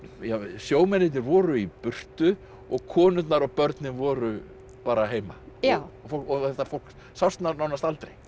sjómennirnir voru í burtu og konurnar og börnin voru bara heima og þetta fólk sást nánast aldrei